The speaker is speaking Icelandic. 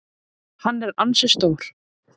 Hann er ansi stór.